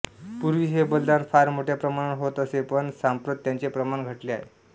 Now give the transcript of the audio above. पूर्वी हे बलिदान फार मोठ्या प्रमाणावर होत असे पण सांप्रत त्याचे प्रमाण घटले आहे